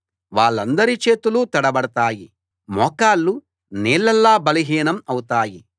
వాళ్ళందరి చేతులూ తడబడతాయి మోకాళ్ళు నీళ్ళలా బలహీనం అవుతాయి